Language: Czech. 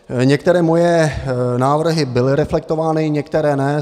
Některé moje návrhy byly reflektovány, některé ne.